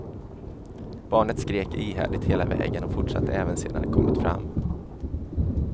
Barnet skrek ihärdigt hela vägen, och fortsatte även sedan de kommit fram.